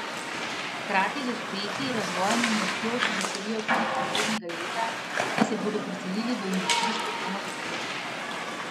Hkrati z uspehi, razvojem in rastjo se veselijo tudi prihodnjega leta, saj se bodo preselili v industrijsko cono v Tolminu.